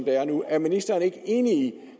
er nu er ministeren ikke enig